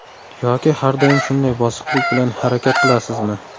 Yoki har doim shunday bosiqlik bilan harakat qilasizmi?